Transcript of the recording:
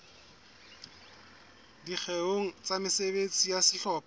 dikgeong tsa mesebetsi ya sehlopha